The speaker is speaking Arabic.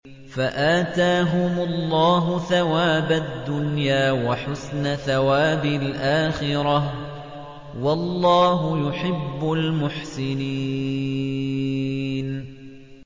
فَآتَاهُمُ اللَّهُ ثَوَابَ الدُّنْيَا وَحُسْنَ ثَوَابِ الْآخِرَةِ ۗ وَاللَّهُ يُحِبُّ الْمُحْسِنِينَ